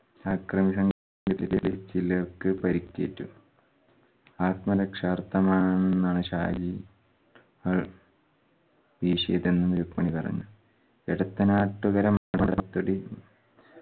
അക്രമി സംഘത്തിലെ ചിലർക്ക് പരിക്കേറ്റു ആത്മ രക്ഷാർത്ഥമാണ് എന്നാണ് ഷാജി ഏർ വീശിയതെന്ന് രുക്മിണി പറഞ്ഞു. എടക്കനാട്ടുകരം മടക്കടി